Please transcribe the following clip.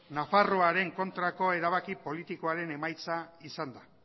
nafarroaren kontrako erabaki politikoaren emaitza izan da